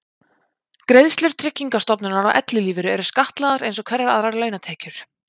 Greiðslur Tryggingastofnunar á ellilífeyri eru skattlagðar eins og hverjar aðrar launatekjur.